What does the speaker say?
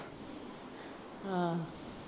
ਆਹ